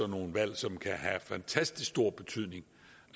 nogle valg som kan have fantastisk stor betydning